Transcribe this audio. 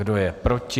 Kdo je proti?